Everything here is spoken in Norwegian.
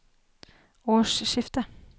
årsskiftet